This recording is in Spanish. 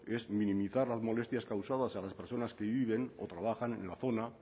es minimizar las molestias causadas a las personas que viven o trabajan en la zona